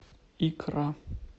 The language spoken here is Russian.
икра